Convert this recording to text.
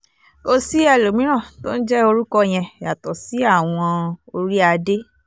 kò sí ẹlòmíràn tó ń jẹ́ orúkọ yẹn yàtọ̀ sí àwọn orí-adé